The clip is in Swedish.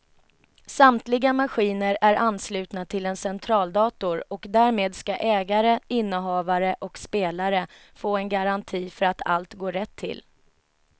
Samtliga maskiner är anslutna till en centraldator och därmed ska ägare, innehavare och spelare få en garanti för att allt går rätt till.